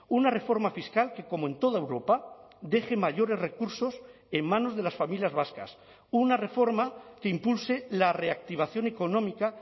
una reforma fiscal que como en toda europa deje mayores recursos en manos de las familias vascas una reforma que impulse la reactivación económica